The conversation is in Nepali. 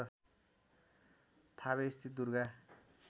थावे स्थित दुर्गा